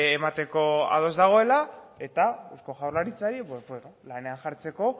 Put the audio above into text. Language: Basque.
emateko ados dagoela eta eusko jaurlaritzari lanean jartzeko